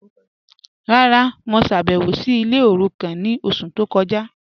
Rárá, mo ṣábẹwò sí ilẹ̀ orúkàn ni ọṣù tó kọja..